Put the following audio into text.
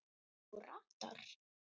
Þú ratar?